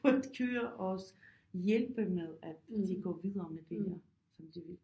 For at køre også hjælpe med at de går videre med det her som de vil